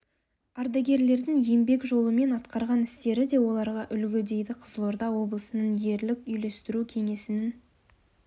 аргадерлердің еңбек жолы мен атқарған істері де оларға үлгі дейді қызылорда облысының ерлік үйлестіру кеңесінің